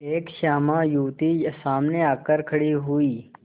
एक श्यामा युवती सामने आकर खड़ी हुई